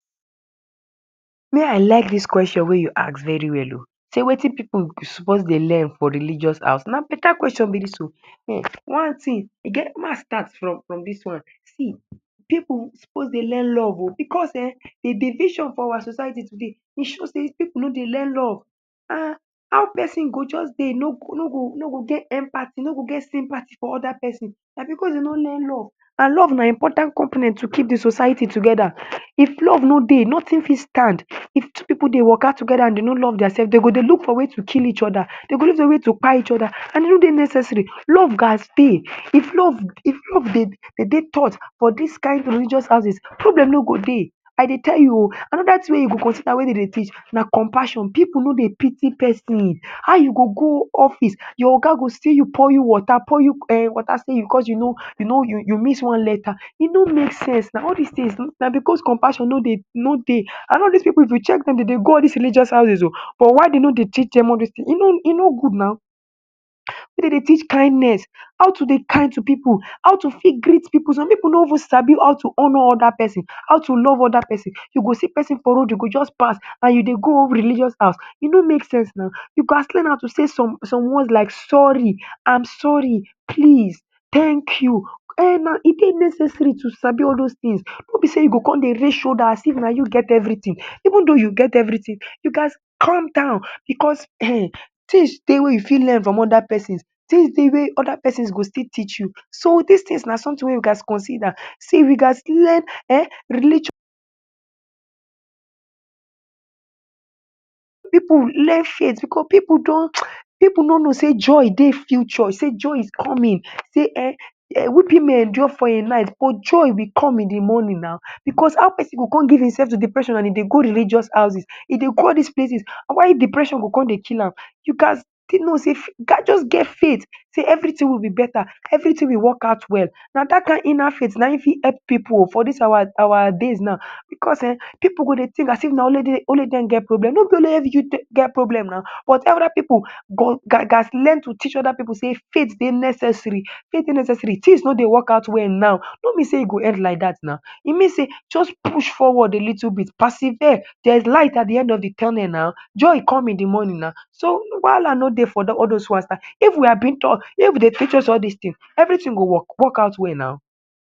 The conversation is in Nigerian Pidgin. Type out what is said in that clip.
Me I like dis kweshon wey you ask very well o. Sey wetin pipu suppose dey learn for religious house? Na beta kweshon be dis o um. One thing, e get, ma start from from from dis one. See pipu suppose dey learn love o because um de division for our society today, e show sey pipu no dey learn love um. How pesin go just dey no no go no go get empathy, no go get sympathy for other pesin. Na because dey no learn love, and love na important component to keep de society together. If love no dey, nothing fit stand. If two pipu dey waka together and dey no love dia sef, dey go dey look for way to kill each other. Dey go look for way to kpai each other, and e no dey necessary. Love gas dey. If love, if love dey, dey dey taught for dis kain religious houses, problem no go dey. I dey tell you o. Another thing wey you go consider wey dey dey teach na compassion. Pipu no dey pity pesin. How you go go office, your oga go see you pour you water, pour you um water sey because you no you no you you miss one letter. E no make sense. All dis things na because compassion no dey no dey. And all dis pipu if you check dem, dey dey go all dis religious houses o, but why dey no dey teach dem all dis things? E no e no good now. Make dem dey teach kindness, how to dey kind to pipu, how to fit greet pipu. Some pipu no even sabi how to honour other pesin, how to love other pesin. You go see pesin for road, you go just pass, and you dey go religious house. E no make sense now. You gas learn how to say some some words like sorry, am sorry, please, thank you. um E dey necessary to sabi all those things, no be sey you go come dey raise shoulder as if na you get everything. Even though you get everything, you gas calm down because um things dey wey you fit learn from other pesins, things dey wey other pesins go still teach you. So dis things na something wey we gas consider. See we gas learn um religious pipu learn faith, because pipu don [hiss] pipu no know sey joy dey future, sey joy is coming, sey um weeping may endure for a night, but joy will come in de morning now. Because how pesin go come give im sef to depression and e dey go religious houses. E dey go all dis places. Why depression go come dey kill am? You gas know sey, just get faith sey everything will be beta, everything will work out well. Na dat kain inner faith fit help pipu o for dis our our days now, because um pipu go dey think as if na only dem na only dem get problem. No be only you get problem now, but other pipu gas learn to teach other pipu sey faith dey necessary faith dey necessary. Things no dey work out well now no mean sey e go end like dat now. E mean sey just push forward a little bit, persevere. There is light at de de end of de tunnel now. Joy will come in de morning now. So wahala no dey for all those ones now. If we are being taught, if dey teach all dis thing, everything go work work out well now.